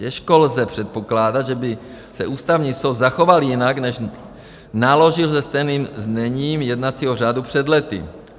Těžko lze předpokládat, že by se Ústavní soud zachoval jinak, než naložil se stejným zněním jednacího řádu před lety.